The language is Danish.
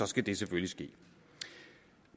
skal det selvfølgelig ske